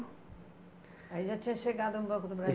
Aí já tinha chegado no Banco do